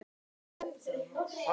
Arnleifur, mun rigna í dag?